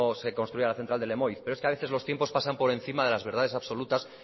se construía la central de lemoiz pero es que a veces los tiempos pasan por encima de las verdades absolutas